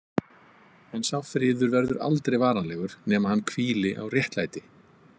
En sá friður verður aldrei varanlegur nema hann hvíli á réttlæti.